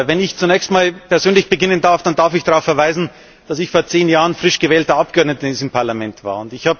Wenn ich zunächst einmal persönlich beginnen darf, dann darf ich darauf verweisen, dass ich vor zehn Jahren frisch gewählter Abgeordneter in diesem Parlament war.